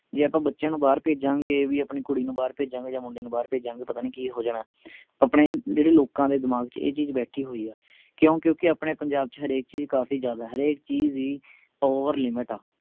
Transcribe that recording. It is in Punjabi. ਜੇ ਆਪਾਂ ਬੱਚਿਆਂ ਨੂੰ ਬਾਹਰ ਭੇਜਾਂਗੇ ਵੀ ਆਪਣੀ ਕੁੜੀ ਨੂੰ ਬਾਹਰ ਭੇਜਾਂਗੇ ਜਾ ਮੁੰਡੇ ਨੂੰ ਬਾਹਰ ਭੇਜਾਂਗੇ ਪਤਾ ਨਹੀਂ ਕਿ ਹੋ ਜਾਣਾ ਆਪਣੇ ਜਿਹੜੇ ਲੋਕਾਂ ਦੇ ਦਿਮਾਗ ਚ ਇਹ ਚੀਜ ਬੈਠੀ ਹੋਈ ਹੈ ਕਯੋ ਕਿਓਂਕਿ ਆਪਣੇ ਪੰਜਾਬ ਚ ਹਰੇਕ ਚੀਜ ਕਾਫੀ ਜਿਆਦਾ ਹਰੇਕ ਚੀਜ ਹੀ overlimit ਆ